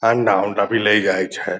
अंडा-उंडा भी ले जाय छै।